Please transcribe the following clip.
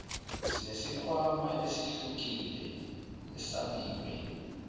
sinesikhwama esehlukile esabiwe